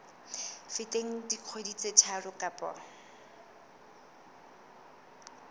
feteng dikgwedi tse tharo kapa